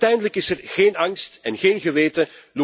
Uiteindelijk is er geen angst en geen geweten.